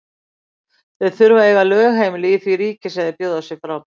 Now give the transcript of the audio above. Þeir þurfa að eiga lögheimili í því ríki sem þeir bjóða sig fram.